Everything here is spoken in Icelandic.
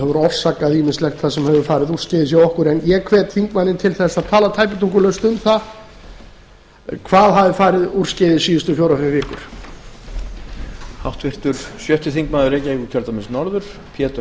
hefur orsakað ýmislegt sem hefur farið úrskeiðis hjá okkur ég hvet þingmanninn til þess að tala tæpitungulaust um það hvað hafi farið úrskeiðis síðustu fjórar fimm vikur